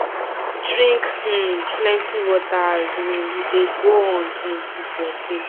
drink um plenty water as um you dey go on um with your day